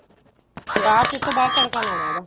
ਬਾਅਦ ਚ ਉਸ ਤੋਂ ਬਾਅਦ ਤੜਕਾ ਲਾਉਣਾ ਉਹਦਾ